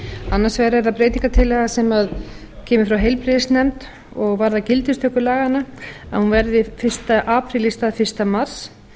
annars vegar er það breytingartillaga sem eru frá heilbrigðisnefnd og varðar gildistöku laganna að hún verði fyrsti apríl í stað fyrsta mars